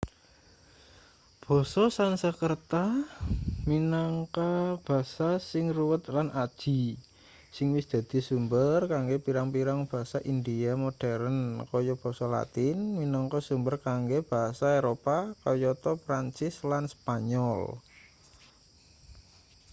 basa sansekrerta minangka basa sing ruwet lan aji sing wis dadi sumber kanggo pirang-pirang basa india modheren kaya basa latin minangka sumber kanggo basa eropa kayata prancis lan spanyol